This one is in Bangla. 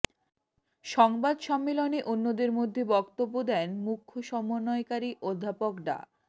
সংবাদ সম্মেলনে অন্যদের মধ্যে বক্তব্য দেন মুখ্য সমন্বয়কারী অধ্যাপক ডা